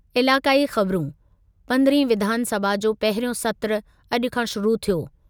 इलाइक़ाई ख़बरू, पंद्रहीं विधानसभा जो पहिरियों सत्रु अॼु खां शुरु थियो।